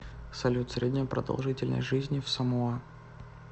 салют средняя продолжительность жизни в самоа